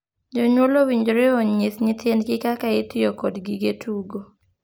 Jonyuol owinjore onyis (opuonj) nyithindgi kaka itiyo kod gige tugo.